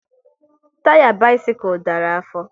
Taya bisikul dara afọ